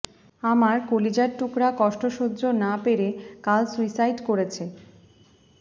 আমার কলিজার টুকরা কষ্ট সহ্য না পেরে কাল সুইসাইড করেছে